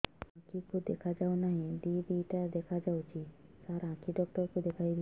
ମୋ ଆଖିକୁ ଦେଖା ଯାଉ ନାହିଁ ଦିଇଟା ଦିଇଟା ଦେଖା ଯାଉଛି ସାର୍ ଆଖି ଡକ୍ଟର କୁ ଦେଖାଇବି